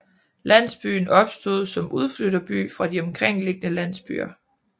Landsbyen opstod som udflytterby fra de omkringliggende landsbyer